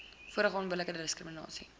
vorige onbillike diskriminasie